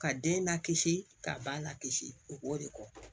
Ka den lakisi ka ba la kisi o b'o de kɛ